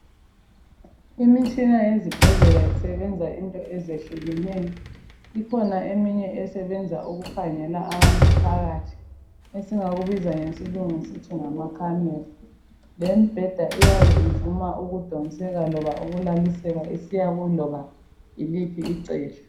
Imitshina yezibhedlela isebenza into ezehlukeneyo. Kukhona le esebenza ukukhangela abantu phakathi. Esingakubiza ngesikhiwa sithi ngamacamera. Lembheda eyage ivuma ukudonseka oba ukulaliseka, iloba isiya kuliphi icele.